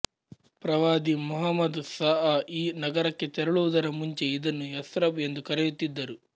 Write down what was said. ಪ್ರವಾದಿ ಮುಹಮ್ಮದ್ ಸ ಅ ಈ ನಗರಕ್ಕೆ ತೆರಳುವುದರ ಮುಂಚೆ ಇದನ್ನು ಯಸ್ರಬ್ ಎಂದು ಕರೆಯುತ್ತಿದ್ದರು